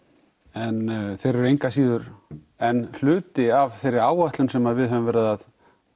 en þeir eru engur að síður enn hluti af þeirri áætlun sem við höfum verið að